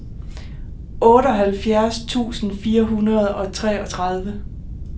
otteoghalvfjerds tusind fire hundrede og treogtredive